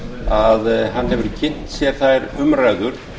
að hann hefur kynnt sér þær umræður